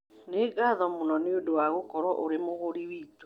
Nĩ ngatho mũno nĩ ũndũ wa gũkorũo ũrĩ mũgũri witũ